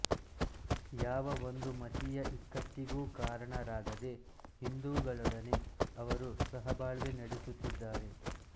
ಯಾವ ಒಂದು ಮತೀಯ ಇಕ್ಕಟ್ಟಿಗೂ ಕಾರಣರಾಗದೆ ಹಿಂದೂಗಳೊಡನೆ ಅವರು ಸಹಬಾಳ್ವೆ ನಡೆಸುತ್ತಿದ್ದಾರೆ